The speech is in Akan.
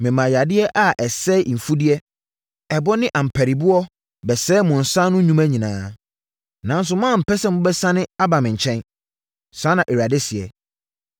Memaa yadeɛ a ɛsɛe mfudeɛ, ɛbɔ ne ampariboɔ bɛsɛee mo nsa ano nnwuma nyinaa. Nanso, moampɛ sɛ mobɛsane aba me nkyɛn. Saa na Awurade seɛ.